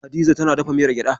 Hadiza tana dafa miyar gyaɗa.